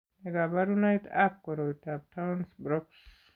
Nee kabarunoikab koroitoab Townes Brocks ?